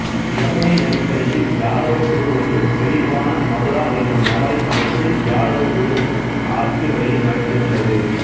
யமுனை நதிக்கரையில் யாதவ குழு ஒன்று செழிப்பான மதுரா எனும் நகரை அமைத்து யாதவகுழு அட்சி முறையை நடத்தி வந்தது